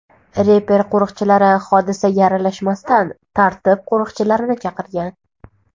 Reper qo‘riqchilari hodisaga aralashmasdan, tartib qo‘riqchilarini chaqirgan.